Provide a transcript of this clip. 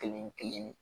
Kelen kelen